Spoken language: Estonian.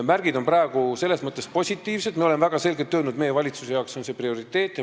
Märgid on praegu selles mõttes positiivsed, et me oleme väga selgelt öelnud, et meie valitsusele on see prioriteet.